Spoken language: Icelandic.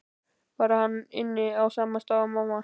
Bara að hann ynni á sama stað og mamma.